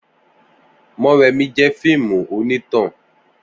Morèmi jẹ fíìmù oní tàn